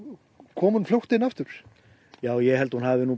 kom hún fljótt inn aftur já ég held hún hafi